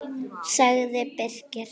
sagði Birkir.